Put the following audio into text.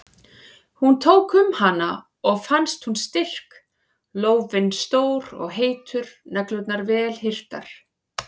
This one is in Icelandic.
Hún tók um hana og fannst hún styrk, lófinn stór og heitur, neglurnar vel hirtar.